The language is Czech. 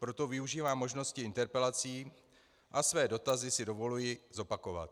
Proto využívám možnosti interpelací a své dotazy si dovoluji zopakovat.